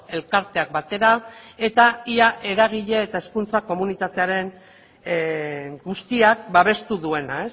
elkarteak batera eta ia eragile eta hezkuntza komunitatearen guztiak babestu duena